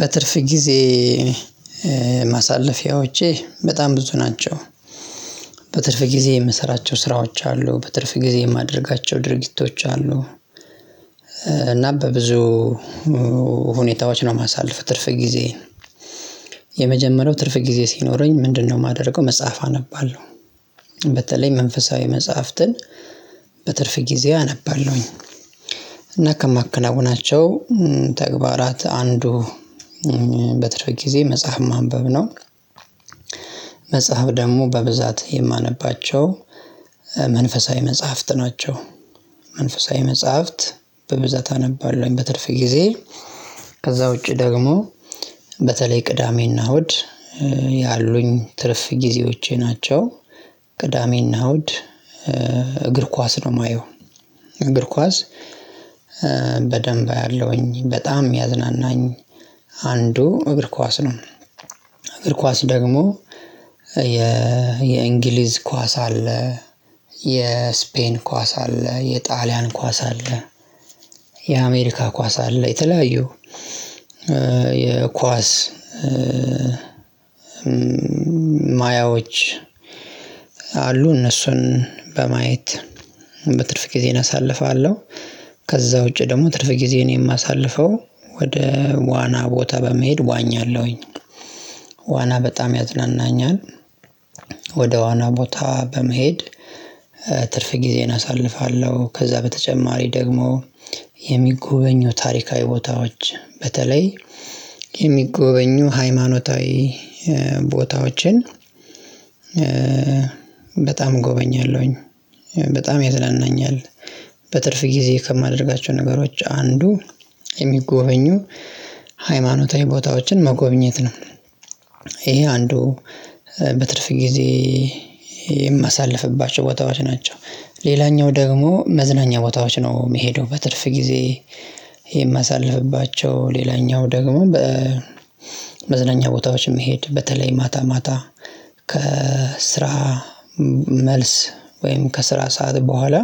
በትርፍ ጊዜ ማሳለፊያዎቼ በጣም ብዙ ናቸው። በትርፍ ጊዜ የምሰራቸው ስራዎች አሉ። በትርፍ ጊዜ የማደርጋቸው ድርጊቶች አሉ። እና በብዙ ሁኔታዎች ነው ማሳለፍ ትርፍ ጊዜዬን። የመጀመሪያው ትርፍ ጊዜ ሲኖረኝ ምንድነው የማደርገው? መጽሐፍ አነባለሁ። በተለይ መንፈሳዊ መጽሐፍትን በትርፍ ጊዜ አነባለሁኝ። እና ከማከናውናቸው ተግባራት አንዱ በትርፍ ጊዜ መጽሐፍ ማንበብ ነው። መጽሐፍ ደግሞ በብዛት የማነባቸው መንፈሳዊ መጽሐፍት ናቸው። መንፈሳዊ መጽሐፍት በብዛት አነባለሁኝ በትርፍ ጊዜ። ከዛ ውጪ ደግሞ በተለይ ቅዳሜና እሁድ ያሉኝ ትርፍ ጊዜዎቼ ናቸው። ቅዳሜ እና እሁድ እግር ኳስ ነው የማየው። እግር ኳስ በደንብ ያለውኝ በጣም ሚያዝናናኝ አንዱ እግር ኳስ ነው። እግር ኳስ ደግሞ የእንግሊዝ ኳስ አለ የስፔን ኳስ አለ የጣሊያን ኳስ አለ። የአሜሪካ ኳስ አለ የተለያዩ የኳስ ማያዎች አሉ እነሱን በማየት በትርፍ ጊዜዬን አሳልፋለሁ። ከዛ ውጪ ደግሞ ትርፍ ጊዜዬን ነው የማሳልፈው ወደ ዋና ቦታ በመሄድ ዋኛለሁኝ። ዋና በጣም ያዝናናኛል። ወደ ዋና ቦታ በመሄድ ትርፍ ጊዜን አሳልፋለሁ። ከዛ በተጨማሪ ደግሞ የሚጎበኙ ታሪካዊ ቦታዎች በተለይ የሚጎበኙ ሃይማኖታዊ ቦታዎችን በጣም ጎበኛለሁኝ በጣም ያዝናናኛል። በትርፍ ጊዜ ከማደርጋቸው ነገሮች አንዱ የሚጎበኙ ሃይማኖታዊ ቦታዎችን መጎብኘት ነው። ይሄ አንዱ በትርፍ ጊዜ የማሳልፍባቸው ቦታዎች ናቸው። ሌላኛው ደግሞ መዝናኛ ቦታዎች ነው የሚሄደው በትርፍ ጊዜ የማሳልፍባቸው ሌላኛው ደግሞ በመዝናኛ ቦታዎችም መሄድ በተለይ ማታ ማታ ከስራ መልስ። ወይም ከስራ ሰዓት በኋላ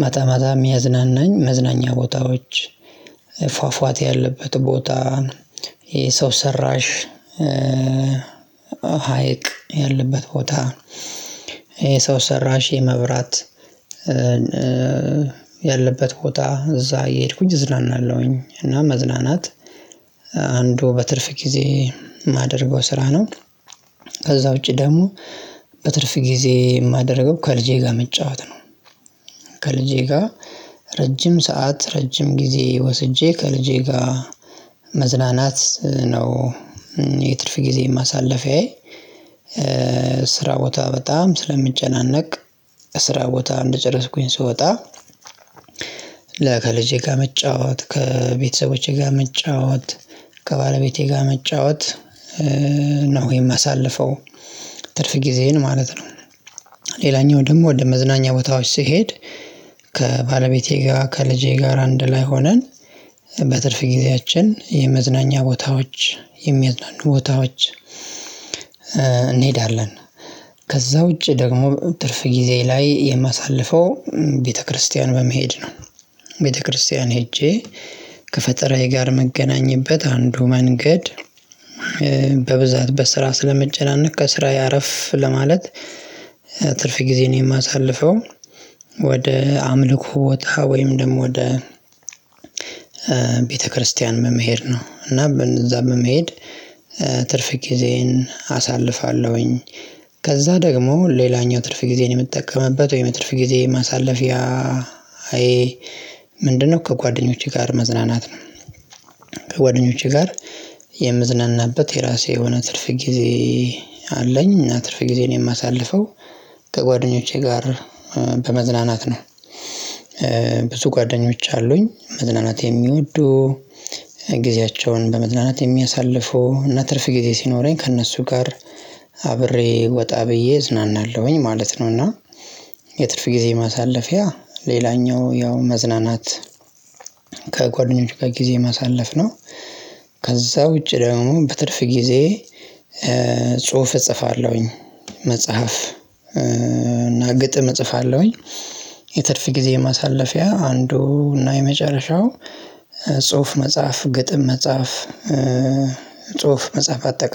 ማታ ማታ የሚያዝናናኝ መዝናኛ ቦታዎች ፏፏቴ ያለበት ቦታ የሰው ሰራሽ ሀይቅ ያለበት ቦታ የሰው ሰራሽ የመብራት ያለበት ቦታ እዛ እየሄድኩኝ እዝናናለሁኝ። እና መዝናናት አንዱ በትርፍ ጊዜ የማደርገው ስራ ነው። ከዛ ውጪ ደግሞ በትርፍ ጊዜ የማደርገው ከልጄ ጋር መጫወት ነው። ከልጄ ጋር ረጅም ሰዓት ረጅም ጊዜ ወስጄ ከልጄ ጋር መዝናናት ነው። የትርፍ ጊዜ ማሳለፊያዬ ስራ ቦታ በጣም ስለምጨናነቅ ስራ ቦታ እንደጨረስኩኝ ስወጣ ለከልጄ ጋር መጫወት ከቤተሰቦቼ ጋር መጫወት ከባለቤቴ ጋር መጫወት ነው የማሳልፈው ትርፍ ጊዜዬን ማለት ነው። ሌላኛው ደግሞ ወደ መዝናኛ ቦታዎች ሲሄድ ከባለቤቴ ጋር ከልጄ ጋር አንድ ላይ ሆነን በትርፍ ጊዜያችን የመዝናኛ ቦታዎች የሚያዝናኑ ቦታዎች እንሄዳለን። ከዛ ውጪ ደግሞ ትርፍ ጊዜ ላይ የማሳልፈው ቤተክርስቲያን በመሄድ ነው። ቤተክርስቲያን ሄጄ ከፈጠራዬ ጋር ምገናኘትበት አንዱ መንገድ በብዛት በስራ ስለምጨናነቅ ከስራዬ አረፍ ለማለት ትርፍ ጊዜዬን የማሳልፈው ወደ አምልኮ ቦታ ወይም ደግሞ ወደ ቤተክርስቲያን በመሄድ ነው። እና በነዛ በመሄድ ትርፍ ጊዜን አሳልፋለሁኝ። ከዛ ደግሞ ሌላኛው ትርፍ ጊዜን የምትጠቀምበት ወይም የትርፍ ጊዜዬ ማሳለፊያዬ ምንድነው? ከጓደኞቼ ጋር መዝናናት ነው። ከጓደኞቼ ጋር የምዝናናበት የራሴ የሆነ ትርፍ ጊዜ አለኝ እና ትርፍ ጊዜዬን የማሳልፈው ከጓደኞቼ ጋር በመዝናናት ነው። ብዙ ጓደኞች አሉኝ መዝናናት የሚወዱ ጊዜያቸውን በመዝናናት የሚያሳልፉ እና ትርፍ ጊዜ ሲኖረኝ ከእነሱ ጋር አብሬ ወጣ ብዬ እዝናናለሁኝ ማለት ነው እና። የትርፍ ጊዜ ማሳለፊያ ሌላኛው ያው መዝናናት ከጓደኞች ጋር ጊዜ ማሳለፍ ነው። ከዛ ውጪ ደግሞ በትርፍ ጊዜ ጽሁፍ እጽፋለሁኝ መጽሐፍ እና ግጥም እጽፋለሁኝ። የትርፍ ጊዜ ማሳለፊያ አንዱ እና የመጨረሻው ጽሁፍ መጽሐፍ ግጥም መጽሐፍ ጽሁፍ መጽሐፍ አጠቃ